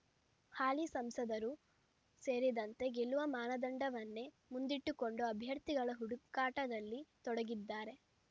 ಹಾಲಿ ಸಂಸದರೂ ಸೇರಿದಂತೆ ಗೆಲ್ಲುವ ಮಾನದಂಡವನ್ನೇ ಮುಂದಿಟ್ಟುಕೊಂಡು ಅಭ್ಯರ್ಥಿಗಳ ಹುಡುಕಾಟದಲ್ಲಿ ತೊಡಗಿದ್ದಾರೆ